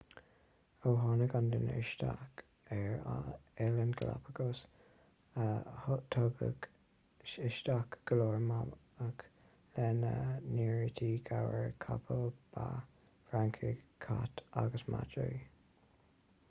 ó tháinig an duine isteach ar oileáin galapagos tugadh isteach go leor mamach lena n-áirítear gabhair capaill ba francaigh cait agus madraí